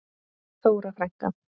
Þóra frænka.